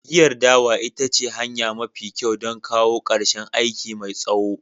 Giyar dawa ita ce hanya mafi kyau don kawo ƙarshen aiki mai tsawo.